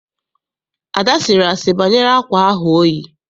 Ada sịrị asị banyere akwa ahụ oyi.